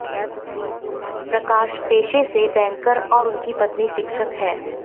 प्रकाश पेशे से बैंकर और उनकी पत्नी शिक्षक हैं